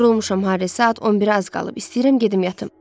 Yorulmuşam, Harri, saat 11-ə az qalıb, istəyirəm gedim yatım.